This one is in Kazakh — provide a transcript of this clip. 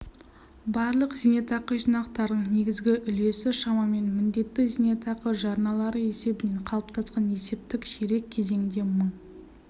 барлық зейнетақы жинақтарының негізгі үлесі шамамен міндетті зейнетақы жарналары есебінен қалыптасқан есептік ширек кезеңде мың